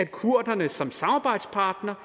kurderne for de har